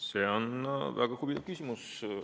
See on väga huvitav küsimus.